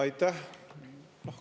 Aitäh!